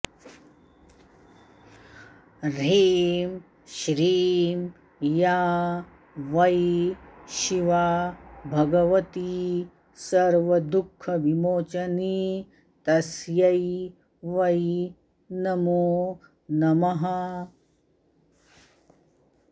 ह्रीं श्रीं या वै शिवा भगवती सर्वदुःखविमोचनी तस्यै वै नमो नमः